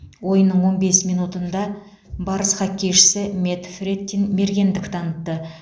ойынның он бес минутында барыс хоккейшісі мэтт фрэттин мергендік танытты